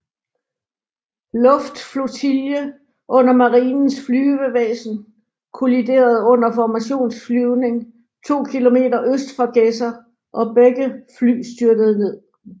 Luftflotille under Marinens Flyvevæsen kolliderede under formationsflyvning 2 km øst for Gedser og begge fly styrtede ned